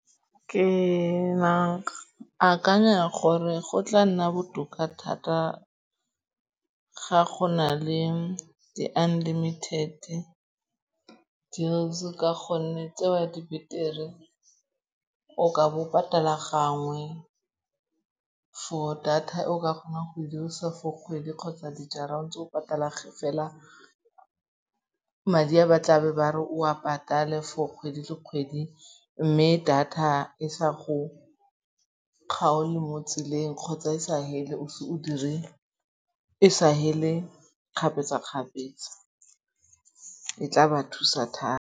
Ke akanya gore go tla nna botoka thata ga go na le di-unlimited deals ka gonne tseo di betere, o ka bo o patala gangwe for data e o ka kgonang go e dirisa for kgwedi kgotsa dijara o ntse o patale fela madi a ba tlabe ba re o a patale for kgwedi le kgwedi. Mme data e sa go kgaole mo tseleng kgotsa e sa fele kgapetsa-kgapetsa. E tla ba thusa thata.